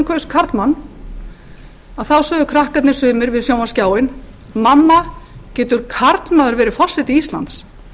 kaus karlmann sögðu krakkarnir sumir við sjónvarpsskjáinn mamma getur karlmaður verið forseti íslands